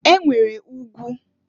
E nwere ugwu.